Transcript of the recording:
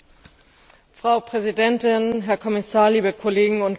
Frau Präsidentin, Herr Kommissar, liebe Kolleginnen und Kollegen!